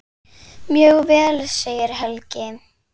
Mjög vel segir Helgi.